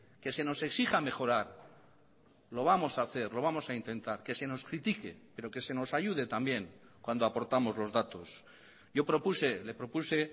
que se nos exija mejorar lo vamos a hacer lo vamos a intentar que se nos critique pero que se nos ayude también cuando aportamos los datos yo propuse le propuse